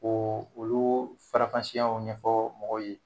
O olu faranfasiyaw ɲɛfɔ mɔgɔw ye.